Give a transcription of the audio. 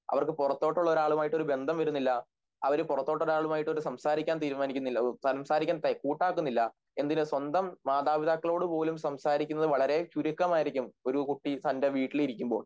അവർക്ക് പുറത്തോട്ടുള്ളൊരാളുമായിട്ടൊരു ബന്ധം വരുന്നില്ല അവര് പുറത്തോട്ടൊരാളുമായിട്ട് ഒരു സംസാരിക്കാൻ തീരുമാനിക്കുന്നില്ല സംസാരിക്കാൻ കൂട്ടാക്കുന്നില്ല എന്തിന് സ്വന്തം മാതാപിതാക്കളോടുപോലും സംസാരിക്കുന്നത് വളരെ ചുരുക്കമായിരിക്കും ഒരു കുട്ടി തൻ്റെ വീട്ടിലിരിക്കുമ്പോൾ